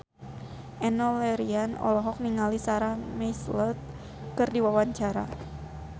Enno Lerian olohok ningali Sarah McLeod keur diwawancara